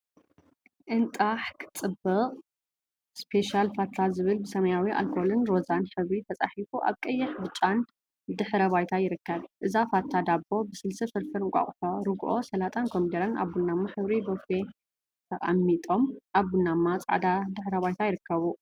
እንጣሕ! ክትጽብቅ ስፔሻል ፋታ ዝብል ብሰማያዊ ኣልኮልን ሮዛን ሕብሪ ተጻሒፉ ኣብ ቀይሕን ብጫን ድሕረ ባይታ ይርከብ። እዛ ፋታ ዳቦ ብስልሲ፣ ፍርፍር እንቃቁሖ፣ ርግኦ፣ ሰላጣን ኮሚደረን ኣብ ቡናማ ሕብሪ ቦፈ ተቀሚጦም ኣብ ቡናማን ጻዕዳን ድሕረ ባይታ ይርከቡ።